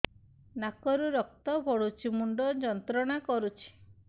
ନାକ ରୁ ରକ୍ତ ପଡ଼ୁଛି ମୁଣ୍ଡ ଯନ୍ତ୍ରଣା କରୁଛି